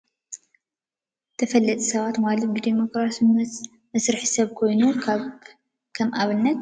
ተፈለጥቲ ሰባት ማለት ብዲሞክራሲያዊ ዝመርሕ ሰብ ኮይኑ፤ ከም አብነት ጠ/ሚ ዐቢይ/ዶ/ር/ ይርከብ፡፡ ሽሙን ሞጆ ዝርከብ ናይ ኢንዱስትሪ ፓርክ ዝገበርዎ ምጉብናይ ዝብል ፅሑፍ ብፃዕዳ ሕብሪ ኮይኑ አብ ዕንቋይ ሕብሪ ድሕረ ገፅ ይርከብ፡፡ ዐቢይ ዘይፈልጥ ዶ አሎ?